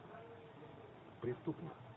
преступник